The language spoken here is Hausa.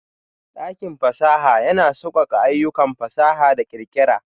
Dakin fasaha yana sauƙaƙe ayyukan fasaha da ƙirƙira.